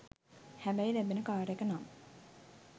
හැබැයි ලැබෙන කාර් එක නම්